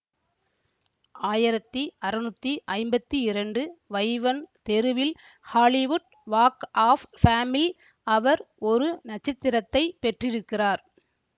ஆயிரத்தி அறுநூத்தி ஐம்பத்தி இரண்டு வைவன் தெருவில் ஹாலிவுட் வாக் ஆஃப் ஃபேமில் அவர் ஒரு நட்சத்திரத்தை பெற்றிருக்கிறார்